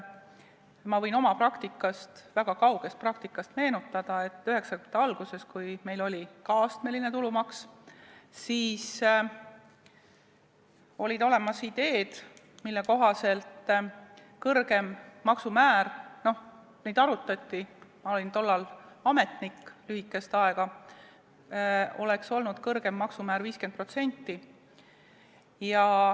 Ma võin oma väga kaugest praktikast meenutada, et 1990-ndate alguses, kui meil oli ka astmeline tulumaks, olid olemas ideed, mille kohaselt kõrgem maksumäär oleks olnud 50%.